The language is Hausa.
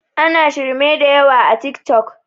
ana shirme da yawa a tik tok